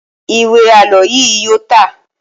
Ìwé àlọ́ yíì yóò tà.